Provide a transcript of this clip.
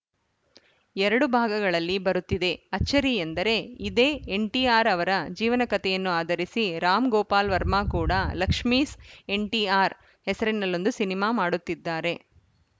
ಎರಡು ಭಾಗಗಳಲ್ಲಿ ಬರುತ್ತಿದೆ ಅಚ್ಚರಿ ಎಂದರೆ ಇದೇ ಎನ್‌ಟಿಆರ್‌ ಅವರ ಜೀವನ ಕತೆಯನ್ನು ಆಧರಿಸಿ ರಾಮ್‌ಗೋಪಾಲ್‌ ವರ್ಮಾ ಕೂಡ ಲಕ್ಷ್ಮೀಸ್‌ ಎನ್‌ಟಿಆರ್‌ ಹೆಸರಿನಲ್ಲೊಂದು ಸಿನಿಮಾ ಮಾಡುತ್ತಿದ್ದಾರೆ